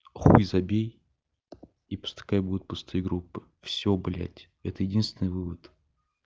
хуй забей и пускай будет пустые группы всё блять это единственный вывод